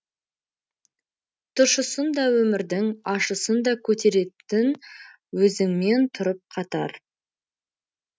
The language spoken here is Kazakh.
тұщысын да өмірдің ащысын да көтеретін өзіңмен тұрып қатар